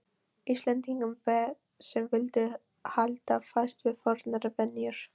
Íslendingum sem vildu halda fast við fornar venjur.